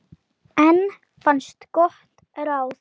Fögur tónlist flutt.